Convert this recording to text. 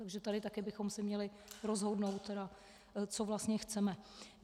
Takže tady taky bychom se měli rozhodnout, co vlastně chceme.